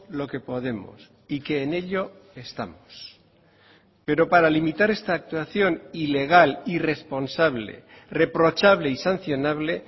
lo que podemos y que en ello estamos pero para limitar esta actuación ilegal irresponsable reprochable y sancionable